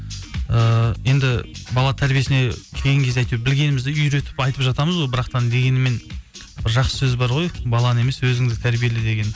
ііі енді бала тәрбиесіне келген кезде әйтеуір білгенімізді үйретіп айтып жатамыз ғой бірақтан дегенімен бір жақсы сөз бар ғой баланы емес өзіңді тәрбиеле деген